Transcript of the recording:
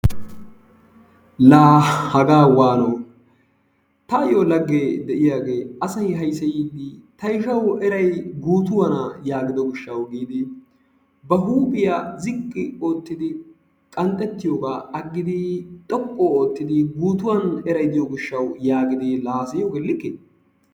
La hagaa waano! tayoo lagee de'iyaagee asay hayseyiidi ta ishshawu eray guutuwaana yaagido giishshawu giidi ba huuphphiyaa ziiqqi oottidi qanxxettiyoogaa aggidi xooqqu oottidi guutuwan eray diyoo giishshawu yaagidi laa hasayiyoogee likkee?